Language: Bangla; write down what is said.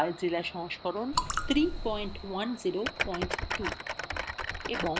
filezilla সংস্করণ 3102